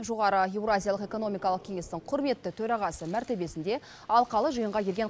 жоғары еуразиялық экономикалық кеңестің құрметті төрағасы мәртебесінде алқалы жиынға келген